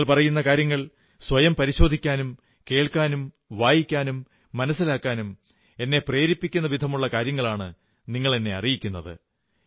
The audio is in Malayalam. നിങ്ങൾ പറയുന്ന കാര്യങ്ങൾ സ്വയം പരിശോധിക്കാനും കേൾക്കാനും വായിക്കാനും മനസ്സിലാക്കാനും എന്നെ പ്രേരിപ്പിക്കുന്ന വിധമുള്ള കാര്യങ്ങളാണ് നിങ്ങളറിയിക്കുന്നത്